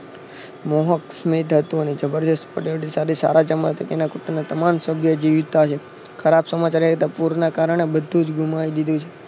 મોહક સ્મિત હતું અને જબર જસ્ટ તમામ સભ્ય જીવતા જ ખરાબ સમાચાર એ હતા પૂર્ણ કારણે બધું જ ગુમાવી દીધું છે